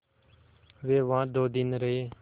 वे वहाँ दो दिन रहे